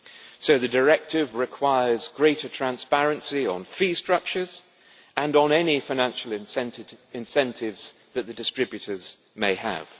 So the directive requires greater transparency on fee structures and on any financial incentives that the distributors may have.